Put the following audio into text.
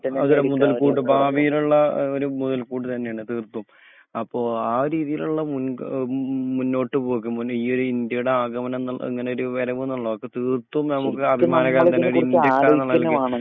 അതേ മുതൽക്കൂട്ട്. ഭാവിയിലുള്ള ഏഹ് ഒരു മുതൽക്കൂട്ട് തന്നെയാണ് തീർത്തും. അപ്പൊ ആ രീതിയിലുള്ള മുൻ ഏഹ് മുന്നോട്ട് പോകും. ഈ ഒരു ഇന്ത്യയുടെ ആഗമനന്നുള്ളത് ഇങ്ങനെ ഒരു വർവ്ന്ന്ള്ളതാ അപ്പൊ തീർത്തും നമുക്ക് സത്യത്തിൽ നമ്മളിതിനെ കുറിച് ആലോചിക്കന്നെ വാണം .